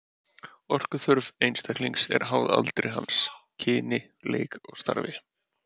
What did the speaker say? Orkuþörf einstaklings er háð aldri hans, kyni, leik og starfi.